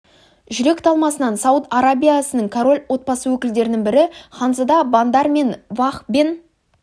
жүрек талмасынан сауд арабиясынының король отбасы өкілдерінің бірі ханзада бандар бен фах бен